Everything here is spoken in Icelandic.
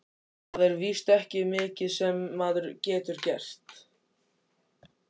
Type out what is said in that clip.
Það er víst ekki mikið sem maður getur gert.